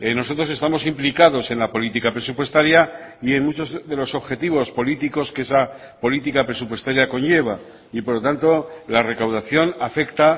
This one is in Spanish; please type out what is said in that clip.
nosotros estamos implicados en la política presupuestaria y en muchos de los objetivos políticos que esa política presupuestaria conlleva y por lo tanto la recaudación afecta